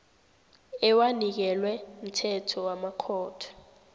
ewanikelwe mthetho wamakhotho